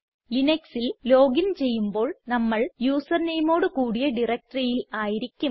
ലിനക്സിൽ login ചെയ്യുമ്പോൾ നമ്മൾ user nameഓട് കൂടിയ directoryയിൽ ആയിരിക്കും